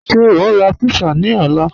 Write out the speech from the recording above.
Ṣẹ o n ra pizza ni ọ̀lá?